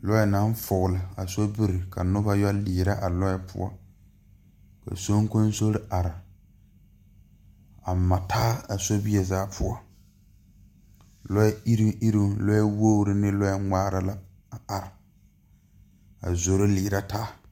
Lɔɛ la are bon gyamaa ka soŋkoŋso bebe lɔ peɛle bebe ka nobɔ tɔŋ gyamaa kaa lɔ sɔglaa meŋ bebe ka bon pelaa bebe nyɛ bonzeereŋ yɛ gyegre gyegre kyɛ kaa lɔre kaŋ ngmaa doɔre.